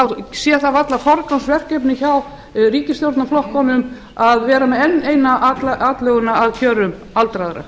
þá sé það varla forgangsverkefni hjá ríkisstjórnarflokkunum að gera enn eina atlöguna að kjörum aldraðra